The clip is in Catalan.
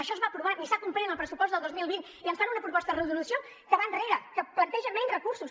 això es va aprovar ni s’ha complert en el pressupost del dos mil vint i ens fan una proposta de resolució que va enrere que planteja menys recursos